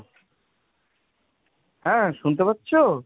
হ্যাঁ শুনতে পাচ্ছো?